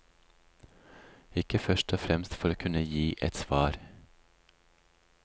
Ikke først og fremst for å kunne gi et svar.